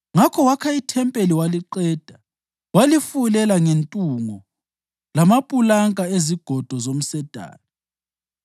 Ngakho wakha ithempeli waliqeda, walifulela ngentungo lamapulanka ezigodo zomsedari.